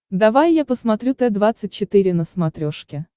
давай я посмотрю т двадцать четыре на смотрешке